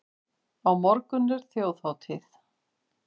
Á morgun er þjóðhátíð.